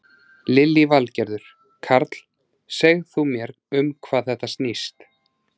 Lillý Valgerður: Karl, segð þú mér um hvað þetta snýst?